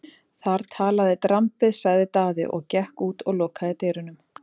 Þar talaði drambið, sagði Daði og gekk út og lokaði dyrunum.